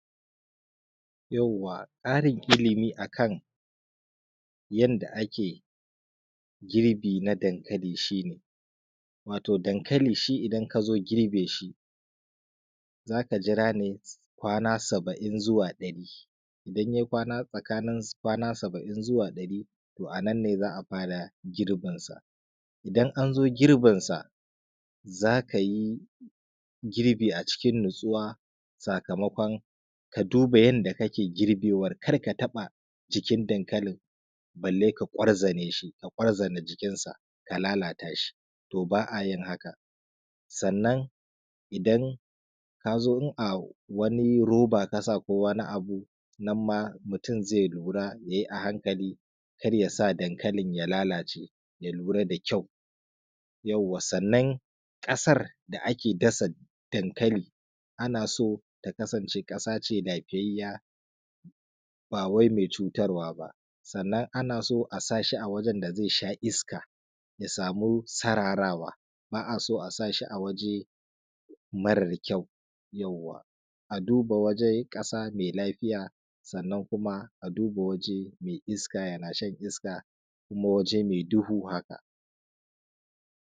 to ba’ayin haka sannan idan kazo in’a wani roba kasa ko wani abu nanma mutun zai lura yayi a hankali karya sa dankalin ya lalace ya lura da kyau sannan kasar da ake dasa dankali anaso ta kasance kasa ce lafiyayyiya bawai mai cutar waba sannan anaso asashi a wajen da zai sha iska ya samu sararawa ba’aso a sashi awaje marar kyau yawwa aduba wajen kasa mai lafiya sannan kuma aduba mai iska yana shan iska ko waje mai duhu haka